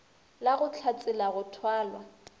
la go hlatsela go thwala